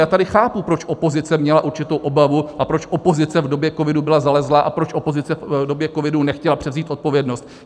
Já tady chápu, proč opozice měla určitou obavu a proč opozice v době covidu byla zalezlá a proč opozice v době covidu nechtěla převzít odpovědnost.